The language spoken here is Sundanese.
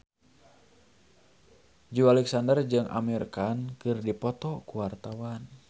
Joey Alexander jeung Amir Khan keur dipoto ku wartawan